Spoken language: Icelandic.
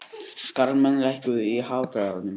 Kalmann, lækkaðu í hátalaranum.